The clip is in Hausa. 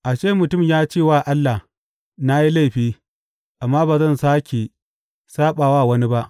A ce mutum ya ce wa Allah, Na yi laifi, amma ba zan sāke saɓa wa wani ba.